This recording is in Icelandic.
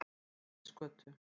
Grettisgötu